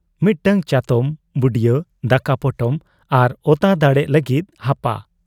ᱢᱤᱫᱴᱟᱹᱝ ᱪᱟᱛᱚᱢ, ᱵᱩᱰᱭᱟᱹ, ᱫᱟᱠᱟ ᱯᱚᱴᱚᱢ ᱟᱨ ᱟᱛᱟ ᱫᱟᱲᱮᱜ ᱞᱟᱹᱜᱤᱫ ᱦᱟᱯᱟ ᱾